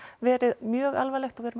verið mjög alvarlegt og við